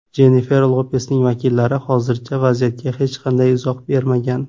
Jennifer Lopesning vakillari hozircha vaziyatga hech qanday izoh bermagan.